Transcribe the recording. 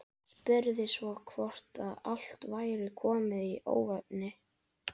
Spurði svo hvort allt væri komið í óefni.